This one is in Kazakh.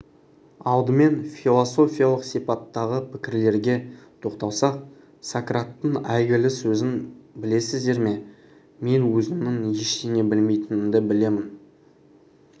алдыменфилософиялық сипаттағы пікірлерге тоқталсақ сократтың әйгілі сөзін білесіздер ме мен өзімнің ештеңе білмейтінімді білемін